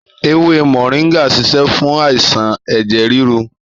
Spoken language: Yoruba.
Èwè mọringà ṣisẹ fun àisàn ẹjẹ riru